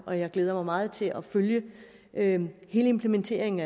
og jeg glæder mig meget til at følge hele implementeringen